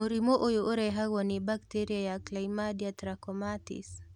Mũrimũ ũyũ ũrehagwo nĩ bacteria ya chlamydia trachomatis